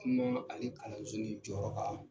Kuma, ale kalanso nin jɔyɔrɔ kan.